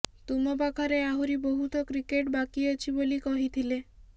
ତୁମ ପାଖରେ ଆହୁରି ବହୁତ କ୍ରିକେଟ୍ ବାକି ଅଛି ବୋଲି କହିଥିଲେ